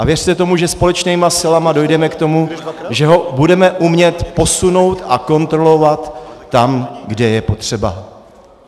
A věřte tomu, že společnými silami dojdeme k tomu, že ho budeme umět posunout a kontrolovat tam, kde je potřeba.